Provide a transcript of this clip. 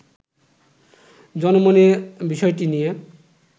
জনমনে বিষয়টি নিয়ে